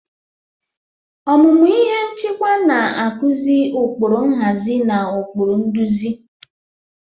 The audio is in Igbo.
Ọmụmụ ihe nchịkwa na-akụzi ụkpụrụ nhazi na ụkpụrụ nduzi.